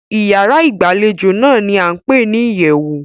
Ìyárá ìgbàlejò náà ní a ń pé ní ìyẹ̀wù.